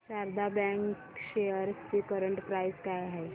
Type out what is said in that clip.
Sharda bank shares ची current price काय आहे